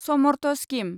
Samarth scheme